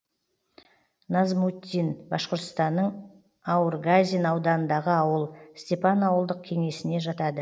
назмутдин башқұртстанның аургазин ауданындағы ауыл степан ауылдық кеңесіне жатады